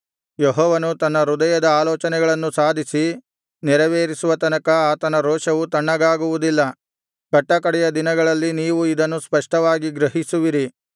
ಯೆಹೋವನು ತನ್ನ ಹೃದಯದ ಆಲೋಚನೆಗಳನ್ನು ಸಾಧಿಸಿ ನೆರವೇರಿಸುವ ತನಕ ಆತನ ರೋಷವು ತಣ್ಣಗಾಗುವುದಿಲ್ಲ ಕಟ್ಟಕಡೆಯ ದಿನಗಳಲ್ಲಿ ನೀವು ಇದನ್ನು ಸ್ಪಷ್ಟವಾಗಿ ಗ್ರಹಿಸುವಿರಿ